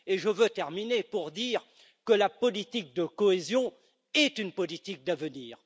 Je veux terminer en disant que la politique de cohésion est une politique d'avenir.